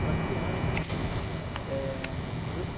para criança, enfim. Eh...